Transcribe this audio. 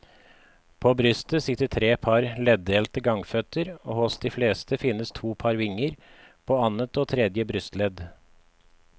På brystet sitter tre par leddelte gangføtter og hos de fleste finnes to par vinger, på annet og tredje brystledd.